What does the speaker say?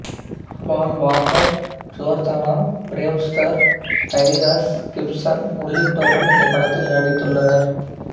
பால் Walker Jordana Brewster Tyrese Gibson உள்ளிட்டோரும் இந்த படத்தில் நடித்துள்ளனர்